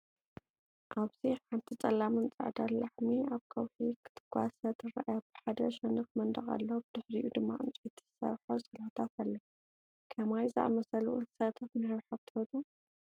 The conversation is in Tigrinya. ኣብዚ ሓንቲ ጸላምን ጻዕዳን ላሐሚ ኣብ ከውሒ ክትጓሰ ትርአ። ብሓደ ሸነኽ መንደቕ ኣሎ፣ ብድሕሪኡ ድማ ዕንጨይቲ ዝሰርሖ ስላታት ኣሎ። ከማይ ዝኣመሰሉ እንስሳታት ምሕብሓብ ትፈቱው?